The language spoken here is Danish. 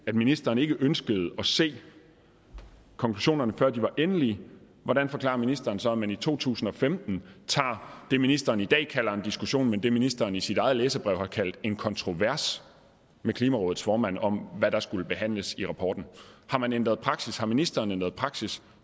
at ministeren ikke ønskede at se konklusionerne før de var endelige hvordan forklarer ministeren så at man i to tusind og femten tager det ministeren i dag kalder en diskussion men som ministeren i sit eget læserbrev har kaldt en kontrovers med klimarådets formand om hvad der skulle behandles i rapporten har man ændret praksis har ministeren ændret praksis